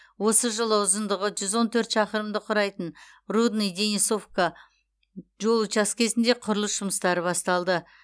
осы жылы ұзындығы жүз он төрт шақырымды құрайтын рудный денисовка жол учаскесінде құрылыс жұмыстары басталды